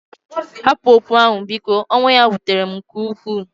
Hapụ okwu ahụ, biko; ọnwụ ya wutere m nke ukwuu.